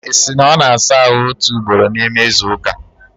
Isi! na ọ na-asa ahụ otu ugboro n'ime izu ụka?